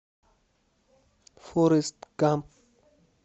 форест гамп